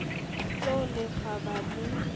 se o le kgaba le